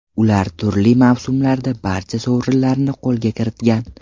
Ular turli mavsumlarda barcha sovrinlarni qo‘lga kiritgan.